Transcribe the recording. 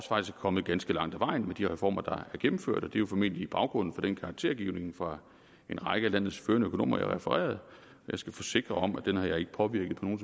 også kommet ganske langt ad vejen med de reformer der er gennemført og det er jo formentlig baggrunden for den karaktergivning fra en række af landets førende økonomer jeg refererede jeg skal forsikre om at den har jeg ikke påvirket på nogen